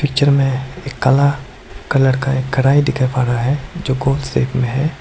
जिनमें एक काला कलर का कड़ाही दिखाई दे रहा है जो गोल शेप में है।